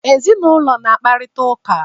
Ndị ezinụlọ na-akparịta ụka.